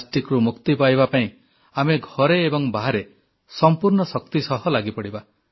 ପ୍ଲାଷ୍ଟିକରୁ ମୁକ୍ତି ପାଇବା ପାଇଁ ଆମେ ଘରେ ଏବଂ ବାହାରେ ସମ୍ପୂର୍ଣ୍ଣ ଶକ୍ତି ସହ ଲାଗିପଡ଼ିବା